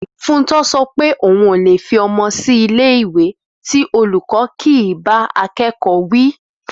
Fúntọ sọ pé òun ò lè fi ọmọ sílé ìwé tí olùkọ́ kì í bá akẹ́kọ̀ọ́ wí